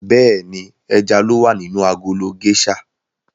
Bẹ́ẹ̀ni, ẹja ló wà nínú agolo géṣà.